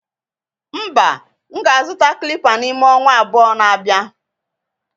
mba, M ga-azụta clipper n'ime ọnwa abụọ na-abịa